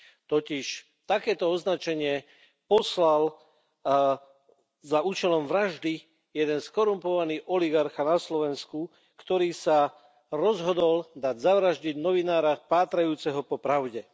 Totiž takéto označenie poslal na účel vraždy jeden skorumpovaný oligarcha na Slovensku, ktorý sa rozhodol dať zavraždiť novinára pátrajúceho po pravde.